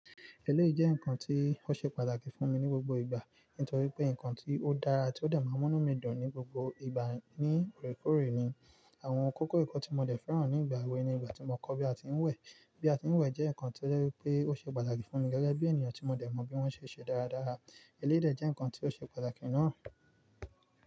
Eléyìí jẹ́ nǹkan tí ó ṣe pàtàkì fún mi ní gbogbo ìgbà, nítorí pé nǹkan tí ó dára tí ó dè n múnú mi dùn ní gbogbo ìgbà ní oorekòore ni. Àwọn kókó ẹ̀kọ́ tí mo dẹ̀ fẹ́ràn ní ìgbà èwe ni ìgbà tí mo kọ́ bí a ti ń wẹ̀. Bí a ti ń wẹ̀ jẹ́ nǹkan tí ó jẹ́ wípé ó ṣe pàtàkì fún mi gẹ́gẹ́ bí ènìyàn tí mo dẹ̀ mọ bí wọ́n ṣe n ṣe dáradára. Eléyìí dè jẹ́ nǹkan tí ó ṣe pàtàkì náà.